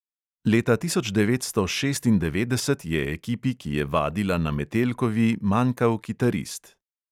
Leta tisoč devetsto šestindevetdeset je ekipi, ki je vadila na metelkovi, manjkal kitarist.